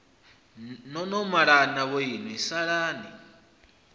no no malana vhoinwi salani